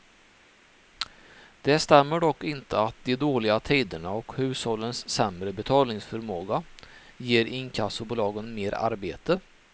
Det stämmer dock inte att de dåliga tiderna och hushållens sämre betalningsförmåga ger inkassobolagen mer arbete.